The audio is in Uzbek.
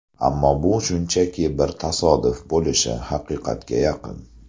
Ammo bu shunchaki bir tasodif bo‘lishi haqiqatga yaqin.